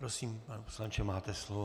Prosím, pane poslanče, máte slovo.